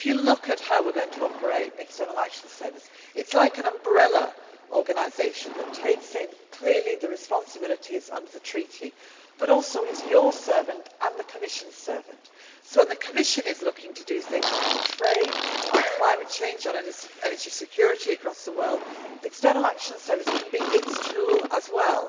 If you look at how we are going to operate the External Action Service, it is like an umbrella organisation that takes in clearly the responsibilities under the treaty but which is also your servant and the Commission's servant. So when the Commission is looking to do things on trade, on climate change, on energy security across the world, the External Action Service can be its tool